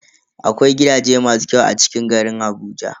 Akwai gidaje masu kyau a cikin garin Abuja.